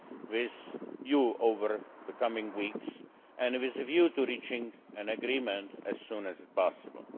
with you over the coming weeks, with a view to reaching an agreement as soon as possible.